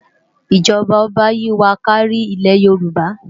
ijọba oba yi wá kàri Ile-yórùbá